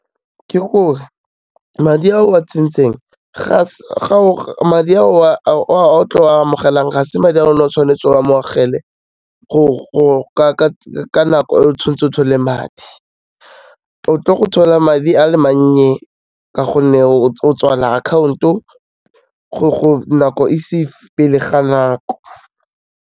Ke gore, madi a o a tsentseng a o tlo a amogelang, ga se madi a o ne o tshwanetse o a amogele, ka nako e tshwanetseng o thole madi. O tlo go thola madi a le mannye ka gonne o tswala account-o nako e se e , pele ga nako.